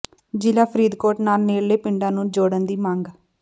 ਜ਼ਿਲ੍ਹਾ ਫ਼ਰੀਦਕੋਟ ਨਾਲ ਨੇਡ਼ਲੇ ਪਿੰਡਾਂ ਨੂੰ ਜੋਡ਼ਨ ਦੀ ਮੰਗ